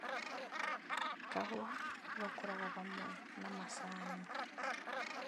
Kahũa gakũraga hamwe na macani